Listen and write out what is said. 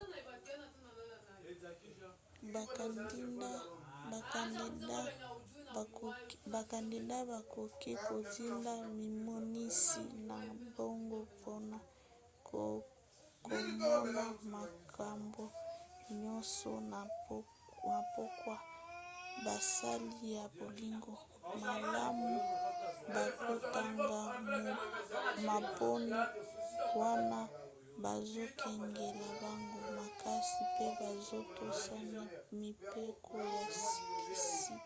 bakandida bakoki kotinda mimonisi na bango mpona komona makambo nyonso. na pokwa basali ya bolingo malamu bakotanga maponi wana bazokengela bango makasi pe bazotosa mibeko ya sikisiki